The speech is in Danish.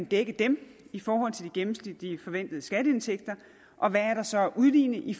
dække dem i forhold til de gennemsnitlige forventede skatteindtægter og hvad der så er at udligne i